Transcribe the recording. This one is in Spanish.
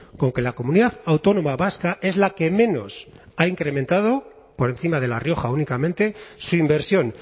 con que la comunidad autónoma vasca es la que menos ha incrementado por encima de la rioja únicamente su inversión